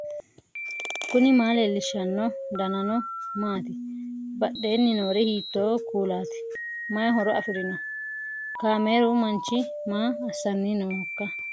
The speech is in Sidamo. knuni maa leellishanno ? danano maati ? badheenni noori hiitto kuulaati ? mayi horo afirino ?kaameeru manchi maa assanni noohoikka